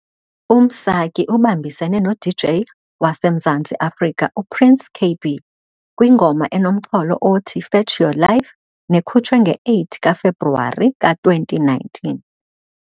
UMsaki ubambisene no-DJ waseMzantsi Afrika u-Prince Kaybee kwingoma enomxholo othi, "Fetch Your Life", nekhutshwe nge-8 kaFebruwari ka-2019.